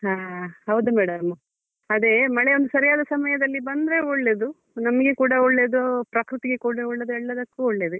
ಹಾ ಹೌದು madam ಅದೇ ಮಳೆ ಒಂದು ಸರಿಯಾದ ಸಮಯದಲ್ಲಿ ಬಂದ್ರೆ ಒಳ್ಳೇದು ನಮ್ಗೆ ಕೂಡ ಒಳ್ಳೇದು ಪ್ರಕೃತಿಗೆ ಕೂಡ ಒಳ್ಳೇದು ಎಲ್ಲದಕ್ಕೂ ಒಳ್ಳೇದೆ.